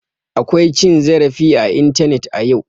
Akwa cin zarafi a intanet a yau.